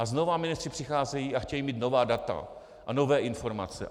A znovu ministři přicházejí a chtějí mít nová data a nové informace.